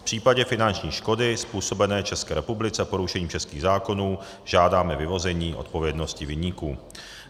V případě finanční škody způsobené České republice porušením českých zákonů žádáme vyvození odpovědnosti viníků."